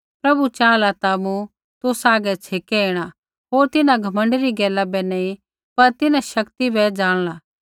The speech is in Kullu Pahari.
प्रभु चाहला ता मूँ तुसा हागै छेकै ऐणा होर तिन्हां घमण्डी री गैला बै नैंई पर तिन्हां शक्ति बै जाणला